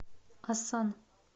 асан